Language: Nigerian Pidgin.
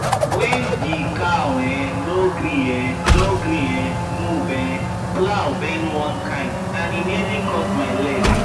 when the cow um no gree um no gree um move um plow bend one kind and e nearly cut my leg